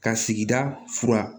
Ka sigida fura